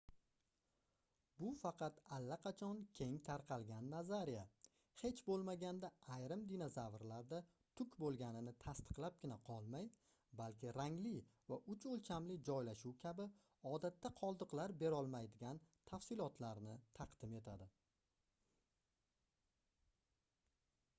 bu faqat allaqachon keng tarqalgan nazariya hech boʻlmaganda ayrim dinozavrlarda tuk boʻlganini tasdiqlabgina qolmay balki rangli va uch oʻlchamli joylashuv kabi odatda qoldiqlar berolmaydigan tafsilotlarni taqdim etadi